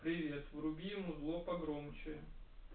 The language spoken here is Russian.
привет вруби музло погромче